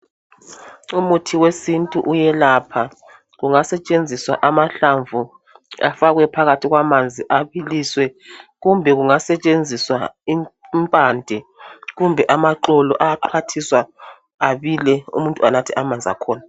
Umuthi wesintu uyelapha kungasetshenziswa amahlamvu afakwe phakathi kwamanzi abiliswe kumbe kungasetshenziswa impande kumbe amaxolo ayaqwathiswa abile umuntu anathe amanzi akhona